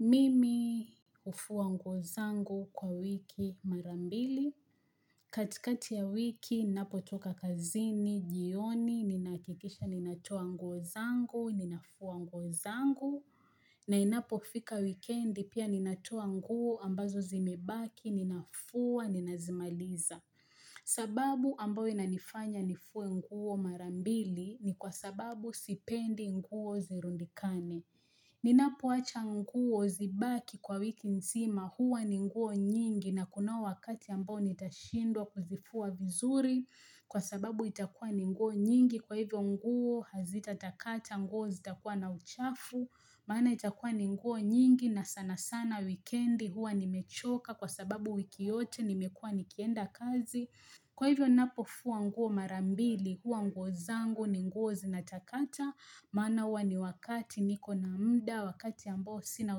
Mimi hufua nguo zangu kwa wiki mara mbili. Katikati ya wiki, ninapotoka kazini, jioni, ninahakikisha, ninatoa nguo zangu, ninafua nguo zangu. Na inapofika wikendi pia ninatoa nguo ambazo zimebaki, ninafua, ninazimaliza. Sababu ambato inanifanya nifue nguo mara mbili ni kwa sababu sipendi nguo zirundikane. Ninapoacha nguo zibaki kwa wiki nzima huwa ni nguo nyingi na kunao wakati ambao nitashindwa kuzifua vizuri kwa sababu itakua ni nguo nyingi kwa hivyo nguo hazitatakata nguo zitakua na uchafu maana itakua ni nguo nyingi na sana sana wikendi huwa nimechoka kwa sababu wiki yote nimekua nikienda kazi Kwa hivyo napofua nguo mara mbili, huwa nguo zangu ni nguo zinatakata, maana huwa ni wakati niko na muda, wakati ambao sina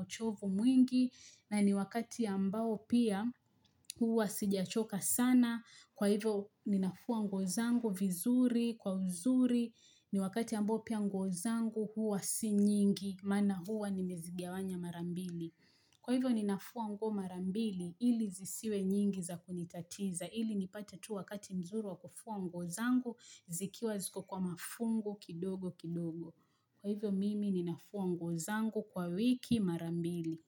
uchovu mwingi, na ni wakati ambao pia huwa sijachoka sana, kwa hivyo ninafua nguo zangu vizuri, kwa uzuri, ni wakati ambao pia nguo zangu huwa si nyingi, maana huwa nimezigawanya mara mbili. Kwa hivyo ninafua nguo mara mbili ili zisiwe nyingi za kunitatiza ili nipate tu wakati mzuri wa kufua nguo zangu zikiwa ziko kwa mafungu kidogo kidogo. Kwa hivyo mimi ninafua ngu zangu kwa wiki marambili.